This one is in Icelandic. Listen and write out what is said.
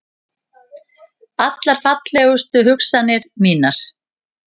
Allar fallegustu hugsanir mínar.